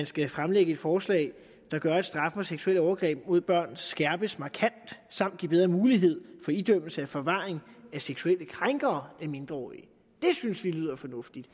skal fremlægge et forslag der gør at straffen for seksuelle overgreb mod børn skærpes markant samt give bedre mulighed for idømmelse af forvaring af seksuelle krænkere af mindreårige det synes vi lyder fornuftigt